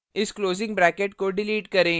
इस closing bracket को delete करें